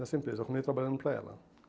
Nessa empresa. Eu comecei trabalhando para ela.